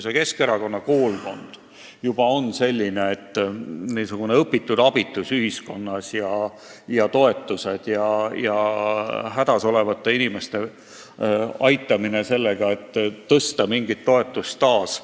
Keskerakonna koolkond lihtsalt on selline, et lepib õpitud abitusega ühiskonnas ja arvab, et hädas olevaid inimesi tuleb aidata sellega, et toetusi muudkui tõsta.